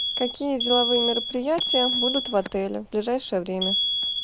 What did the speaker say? какие деловые мероприятия будут в отеле в ближайшее время